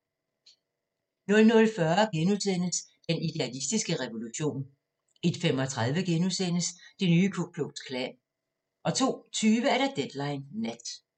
00:40: Den idealistiske revolution * 01:35: Det nye Ku Klux Klan * 02:20: Deadline Nat